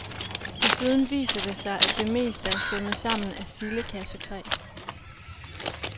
Desuden viser det sig, at det meste er sømmet sammen af sildekassetræ.